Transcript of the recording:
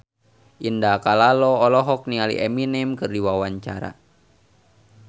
Indah Kalalo olohok ningali Eminem keur diwawancara